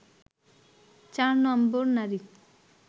৪ number নারী